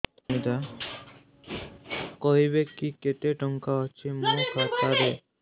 କହିବେକି କେତେ ଟଙ୍କା ଅଛି ମୋ ଖାତା ରେ